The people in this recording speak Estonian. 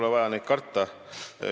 Neid pole vaja karta.